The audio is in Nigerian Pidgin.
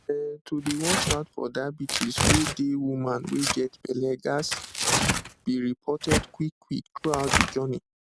um to dey watch out for diabetes wey dey woman wey get belle ghats be reported quick quick throughout de journey